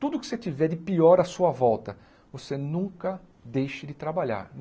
Tudo que você tiver de pior a sua volta, você nunca deixe de trabalhar.